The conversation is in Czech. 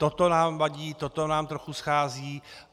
Toto nám vadí, toto nám trochu schází.